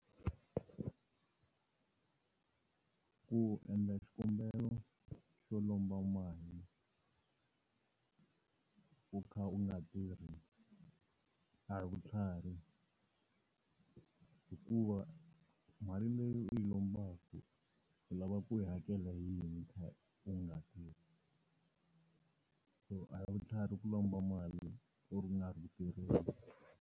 Ku endla xikombelo xo lomba mali, u kha u nga tirhi a hi vutlhari, hikuva mali leyi u yi lombaka u lava ku yi hakela hiyini u kha u nga tirhi, so a hi vutlhari ku lomba mali u nga ri ku tirheni.